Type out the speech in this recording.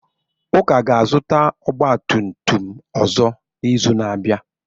Uka ga-azụta ọgba tum tum ọzọ n'izu na-abịa.